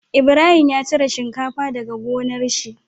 Ibrahim ya cire shinkafa daka gonar shi